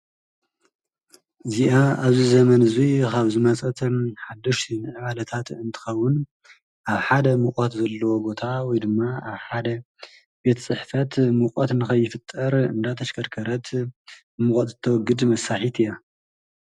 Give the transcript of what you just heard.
እዚኣ ኣብዚ ዘመን እዚ ካብ ዝመፀት ሓደሽቲ ምዕባለታት እንትከዉን ኣብ ሓደ ሙቀት ዘለዎ ቦታ ወይ ድማ ኣብ ሓደ ቤት ፅሕፈት ሙቆት ንከይፍጠር እናተሽክከርከረት ሙቆት እተዉግድ መሳርሒት እያ።